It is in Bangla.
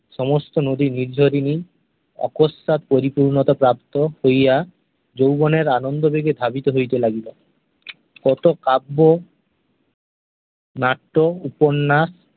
সমস্ত নদী নির্ঝরিণী অকস্মাৎ পরিপূর্ণতা প্রাপ্ত হইয়া যৌবনের আনন্দবেগে ধাবিত হইতে লাগিল । কত কাব্য নাট্য, উপন্যাস